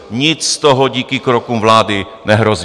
Nic z toho díky krokům vlády nehrozí.